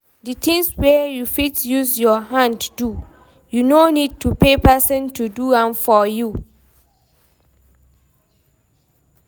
Di things wey you fit use your hand do, you no need to pay person to do am for you